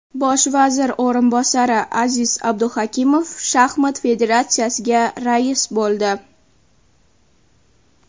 Bosh vazir o‘rinbosari Aziz Abduhakimov shaxmat federatsiyasiga rais bo‘ldi.